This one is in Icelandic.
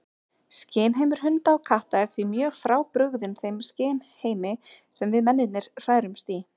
Skynheimur hunda og katta er því mjög frábrugðinn þeim skynheimi sem við mennirnir hrærumst í.